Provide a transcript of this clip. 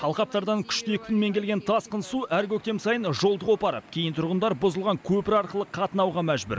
алқаптардан күшті екпінмен келген тасқын су әр көктем сайын жолды қопарып кейін тұрғындар бұзылған көпір арқылы қатынауға мәжбүр